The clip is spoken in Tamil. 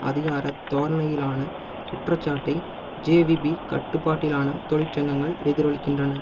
அதிகாரத் தோரணையிலான குற்றச்சாட்டை ஜேவிபி கட்டுப்பாட்டிலான தொழிற்சங்கங்கள் எதிரொலிக்கின்றன